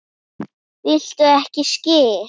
Viltu ekki skyr?